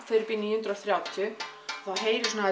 fer upp í níu hundruð og þrjátíu þá heyrist svona